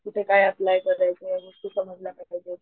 कुठे काय अप्लाय करायचं ह्या गोष्टी समजल्या पाहिजेत.